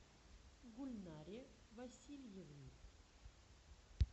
гульнаре васильевне